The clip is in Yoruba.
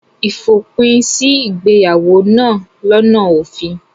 Ìfòpin sí ìgbéyàwó náà lọ́nà òfin.